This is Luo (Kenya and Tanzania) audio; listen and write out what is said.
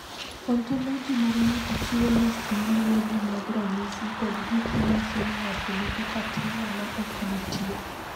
Ontoloji mar ng’ato chiwo list ma luwogi mag ranyisi kod gik ma nyiso ni ng’ato nigi patella ma ok nitie.